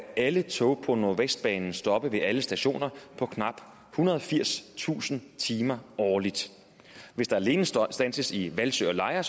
alle tog på nordvestbanen stoppe ved alle stationer på knap ethundrede og firstusind timer årligt hvis der alene standses i hvalsø og lejre